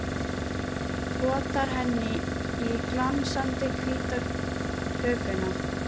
Potar henni í glansandi hvíta hökuna.